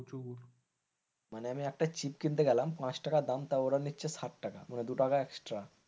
মানে আমি একটা টিপস কিনতে গেলাম পাঁচ টাকা দাম তো ওরা নিচ্ছে সাত টাকা দু টাকা extra.